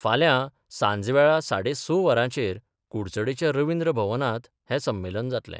फाल्यां सांजवेळा साडे स वरांचेर कुडचडेंच्या रवींद्र भवनांत हें संमेलन जातलें.